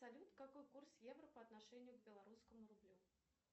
салют какой курс евро по отношению к белорусскому рублю